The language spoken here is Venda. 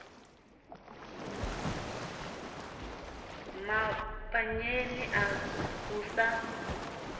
ḽi ṱapanyedza u sa ḓo